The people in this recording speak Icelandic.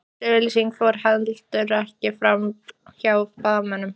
Þessi auglýsing fór heldur ekki framhjá blaðamönnum